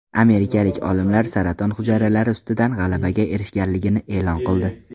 Amerikalik olimlar saraton hujayralari ustidan g‘alabaga erishganligini e’lon qildi.